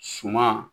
Suma